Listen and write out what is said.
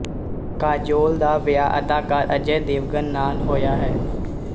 ਕਾਜੋਲ ਦਾ ਵਿਆਹ ਅਦਾਕਾਰ ਅਜੇ ਦੇਵਗਨ ਨਾਲ ਹੋਇਆ ਹੈ